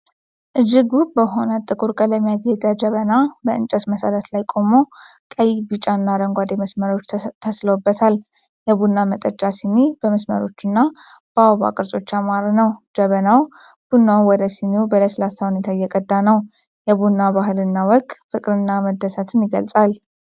እጅግ ውብ በሆነ ጥቁር ቀለም ያጌጠ ጀበና በእንጨት መሠረት ላይ ቆሞ፣ ቀይ፣ ቢጫና አረንጓዴ መስመሮች ተስለውበታል። የቡና መጠጫ ሲኒ በመስመሮችና በአበባ ቅርጾች ያማረ ነው። ጀበናው ቡናውን ወደ ሲኒው በለስላሳ ሁኔታ እየቀዳ ነው። የቡና ባህልና ወግ ፍቅርን እና መደሰትን ይገልጻል።